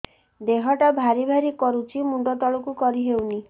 ଦେହଟା ଭାରି ଭାରି କରୁଛି ମୁଣ୍ଡ ତଳକୁ କରି ହେଉନି